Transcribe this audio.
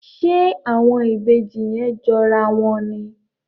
Ṣe àwọn Ìbejì yén jọ rà wón ní?